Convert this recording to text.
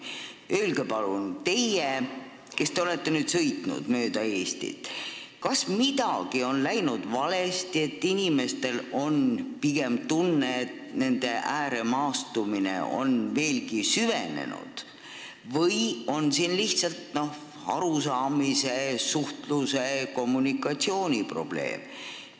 Öelge palun, teie, kes te olete nüüd mööda Eestit sõitnud, kas midagi on läinud valesti, et inimestel on pigem tunne, et ääremaastumine on veelgi süvenenud, või on siin lihtsalt arusaamise, suhtluse, kommunikatsiooni probleem.